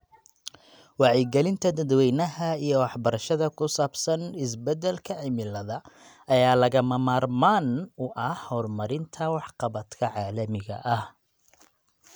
Wacyigelinta dadweynaha iyo waxbarashada ku saabsan isbeddelka cimilada ayaa lagama maarmaan u ah horumarinta waxqabadka caalamiga ah.